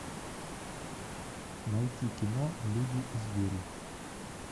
найти кино люди и звери